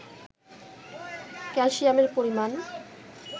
ক্যালসিয়ামের পরিমাণ